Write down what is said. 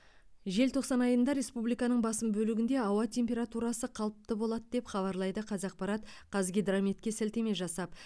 желтоқсан айында республиканың басым бөлігінде ауа температурасы қалыпты болады деп хабарлайды қазақпарат қазгидрометке сілтеме жасап